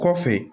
Kɔfɛ